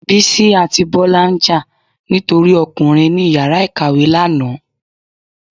Bisí atí Bola njà ni tori Ọkùnrin ni ìyára ìkàwé lana